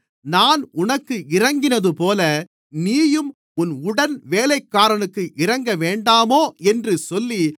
நான் உனக்கு இரங்கினதுபோல நீயும் உன் உடன்வேலைக்காரனுக்கு இரங்கவேண்டாமோ என்று சொல்லி